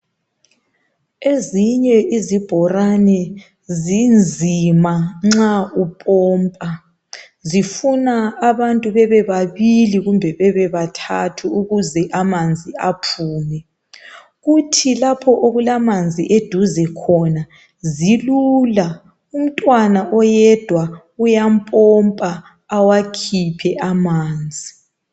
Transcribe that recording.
Ezinye izibholane zinzima nxa upompa. Zifuna abantu bebe babili kumbe bebe bathathu ukuze amanzi aphume. Kuthi lapho okulamanzi eduze khona zilula umntwana oyedwa uyapompa awakhiphe amanzi.